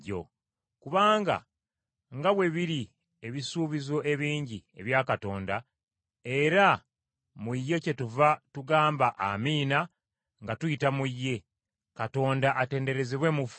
Kubanga nga bwe biri ebisuubizo ebingi ebya Katonda, era mu ye kyetuva tugamba Amiina nga tuyita mu ye, Katonda atenderezebwe mu ffe.